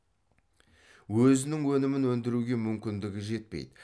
өзінің өнімін өндіруге мүмкіндігі жетпейді